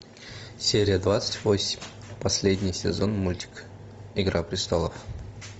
серия двадцать восемь последний сезон мультик игра престолов